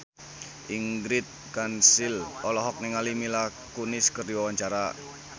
Ingrid Kansil olohok ningali Mila Kunis keur diwawancara